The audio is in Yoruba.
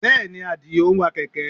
Bẹ́ẹ̀ ni, Àdìó ń wa kẹ̀kẹ́